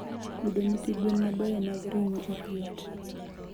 Yudo nyithi gwen mabeyo mag ring'o ok yot.